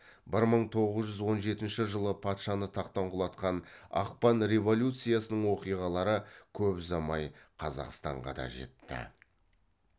бір мың тоғыз жүз он жетінші жылы патшаны тақтан құлатқан ақпан революциясының оқиғалары көп ұзамай қазақстанға да жетті